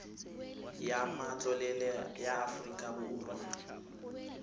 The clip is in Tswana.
ya matlole ya aforika borwa